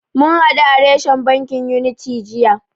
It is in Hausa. Mun hadu a reshen bankin Unity jiya.